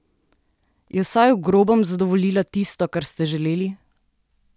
Je vsaj v grobem zadovoljila tisto, kar ste želeli?